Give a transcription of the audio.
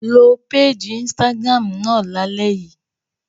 Lo péèjì Instagram náà lálẹ́ yìí!